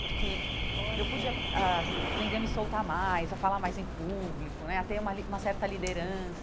Porque olha eu pude a a aprender a me soltar mais, a falar mais em público né, a ter uma li uma certa liderança.